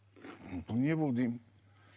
бұл не болды деймін